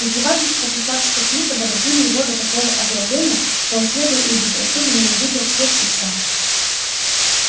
издевательства красавчика смита доводили его до такого озлобления что он слепо и безрассудно ненавидел всех и вся